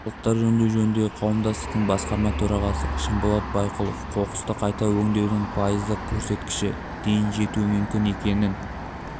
қалдықтар өңдеу жөніндегі қауымдастықтың басқарма төрағасы шынболат байқұловқоқысты қайта өңдеудің пайыздық көрсеткіші дейін жетуі мүмкін екенін